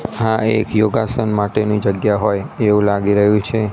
આ એક યોગાસન માટેની જગ્યા હોય એવું લાગી રહ્યું છે.